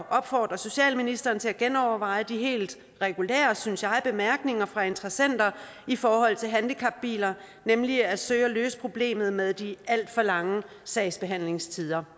opfordre socialministeren til at genoverveje de helt regulære synes jeg bemærkninger fra interessenter i forhold til handicapbiler nemlig at søge at løse problemet med de alt for lange sagsbehandlingstider